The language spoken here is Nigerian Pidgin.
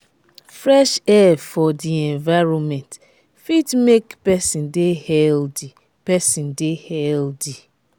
fresh air for di environment fit make person de healthy person de healthy